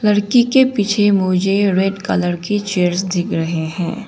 लड़की के पीछे मुझे रेड कलर की चेयर्स दिख रहे हैं।